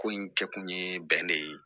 Ko in kɛ kun ye bɛnɛ ye